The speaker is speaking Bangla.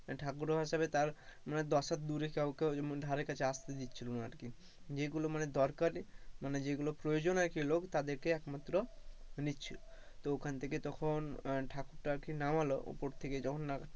ঠাকুরও ভাষাবে তার দশ হাত দূরে কাউকে ধারে পশে আস্তে দিচ্ছিলো না আর কি, যেগুলো মানে দরকারই মানে যেগুলো প্রয়োজন আর কি লোক, তাদেরকে একমাত্র নিচ্ছিলো, তো ওখান থেকে তখন ঠাকুর টা আরকি নামালো উপর থেকে যখন,